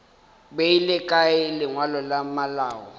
beile kae lengwalo la malao